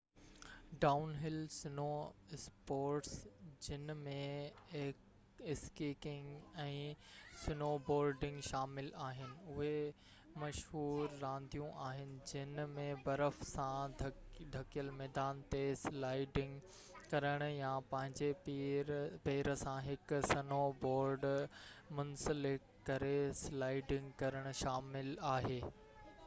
down هل snow sports جن ۾ skiing ۽ snowboarding شامل آهن اهي مشهور رانديون آهن جن ۾ برف سان ڍڪيل ميدان تي سلائيڊنگ ڪرڻ يا پنهنجي پير سان هڪ سنو بورڊ منسلڪ ڪري سلائيڊنگ ڪرڻ شامل آهي